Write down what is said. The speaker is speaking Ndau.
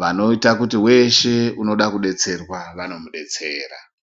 Vanoyita kuti weshe unoda kudetserwa vanomudetsera.